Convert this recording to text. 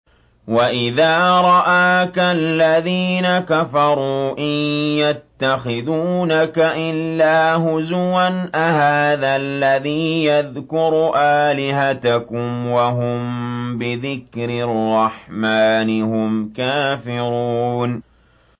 وَإِذَا رَآكَ الَّذِينَ كَفَرُوا إِن يَتَّخِذُونَكَ إِلَّا هُزُوًا أَهَٰذَا الَّذِي يَذْكُرُ آلِهَتَكُمْ وَهُم بِذِكْرِ الرَّحْمَٰنِ هُمْ كَافِرُونَ